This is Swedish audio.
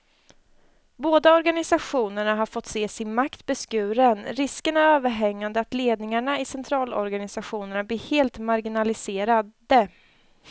Båda organisationerna har fått se sin makt beskuren, risken är överhängande att ledningarna i centralorganisationerna blir helt marginaliserade.